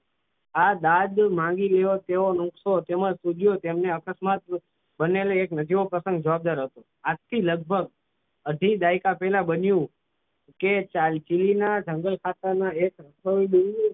આ દાદ માંગી રહ્યો તેવો નુસખો તેમજ વિડીયો તેમનો અકસ્માત બનેલો એક નજીવો પ્રસંગ જવાબદાર હતો આજથી લગભગ અઢી દાયકા પહેલા બન્યું કે ચીલી ના જંગલ ખાતાના આસામના ડુંગરોમાં